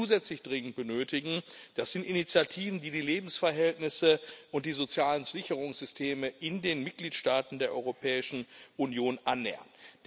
Was wir zusätzlich dringend benötigen, das sind Initiativen, die die Lebensverhältnisse und die sozialen Sicherungssysteme in den Mitgliedstaaten der Europäischen Union annähern.